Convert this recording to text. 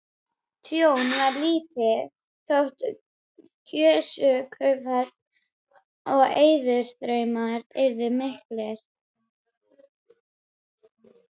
Tjón varð lítið þótt gjóskufall og eðjustraumar yrðu miklir.